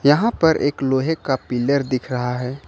यहां पर एक लोहे का पिलर दिख रहा है।